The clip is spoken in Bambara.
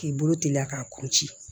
K'i bolo teliya k'a kun ci